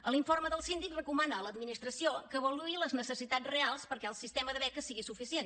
a l’informe del síndic recomana a l’administració que avaluï les necessitats reals perquè el sistema de beques sigui suficient